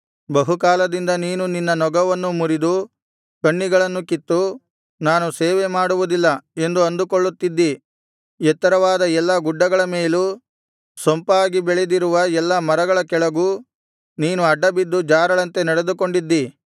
ಬಹುಕಾಲದಿಂದ ನೀನು ನಿನ್ನ ನೊಗವನ್ನು ಮುರಿದು ಕಣ್ಣಿಗಳನ್ನು ಕಿತ್ತು ನಾನು ಸೇವೆ ಮಾಡುವುದಿಲ್ಲ ಎಂದು ಅಂದುಕೊಳ್ಳುತ್ತಿದ್ದಿ ಎತ್ತರವಾದ ಎಲ್ಲಾ ಗುಡ್ಡಗಳ ಮೇಲೂ ಸೊಂಪಾಗಿ ಬೆಳೆದಿರುವ ಎಲ್ಲಾ ಮರಗಳ ಕೆಳಗೂ ನೀನು ಅಡ್ಡಬಿದ್ದು ಜಾರಳಂತೆ ನಡೆದುಕೊಂಡಿದ್ದಿ